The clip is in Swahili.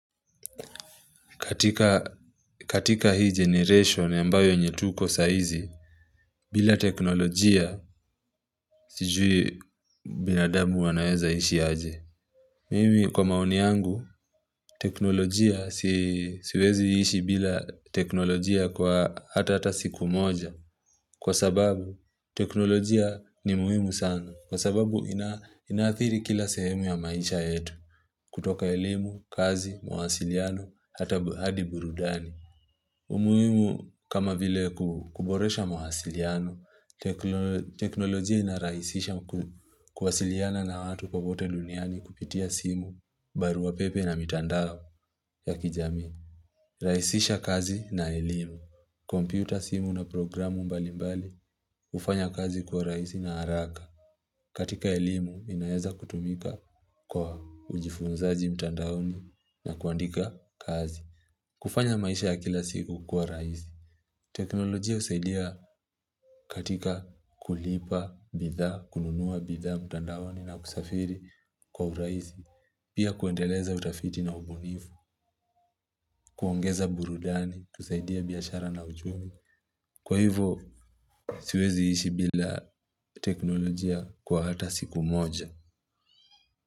Katika hii generation ambayo yenye tuko saa hizi bila teknolojia sijui binadamu wanaweza ishi aje Mimi kwa maoni yangu teknolojia siwezi ishi bila teknolojia kwa hata hata siku moja Kwa sababu teknolojia ni muhimu sana Kwa sababu inaathiri kila sehemu ya maisha yetu kutoka elimu, kazi, mawasiliano, hata hadi burudani umuhimu kama vile kuboresha mawasiliano, teknolojia inarahisisha kuwasiliana na watu popote duniani kupitia simu barua pepe na mitandao ya kijamii. Rahisisha kazi na elimu. Kompyuta simu na programu mbalimbali hufanya kazi kuwa rahisi na haraka. Katika elimu, inaeza kutumika kwa ujifunzaji mtandaoni na kuandika kazi. Kufanya maisha ya kila siku kuwa rahisi. Teknolojia husaidia katika kulipa bidhaa, kununua bidhaa, mtandaoni na kusafiri kwa urahisi. Pia kuendeleza utafiti na ubunifu, kuongeza burudani, tusaidie biashara na uchumi. Kwa hivo, siwezi ishi bila teknolojia kwa hata siku moja.